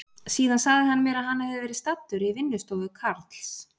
Síðan sagði hann mér að hann hefði verið staddur í vinnustofu Karls